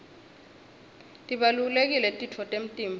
tibalulekile titfo temtimba